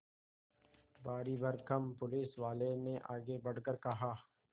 भारीभरकम पुलिसवाले ने आगे बढ़कर कहा